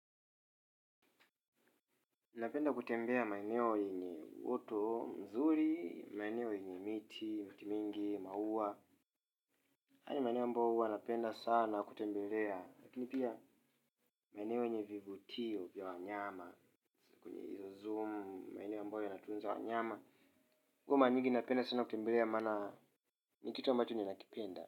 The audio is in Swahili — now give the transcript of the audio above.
Napenda kutembea kwenye maeneo yenye mto mzuri maeneo yenye miti mingi, maua, hayo ni maeneo ambayo huwa napenda sana kutembelea maeneo ynye vivutio vya wanyama ambao yanatunza wanyama kwa maeneo napenda sana kutembelea maana ni kitu ambacho tu ninakipenda.